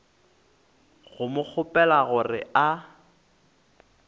go mo kgopela gore a